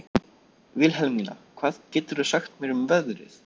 Vilhelmína, hvað geturðu sagt mér um veðrið?